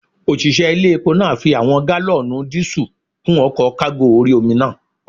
Òṣìṣẹ́ ilé epo náà fi àwọn gálọ̀nù díísù kún ọkọ̀ kágò orí-omi náà